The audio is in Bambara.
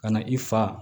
Ka na i fa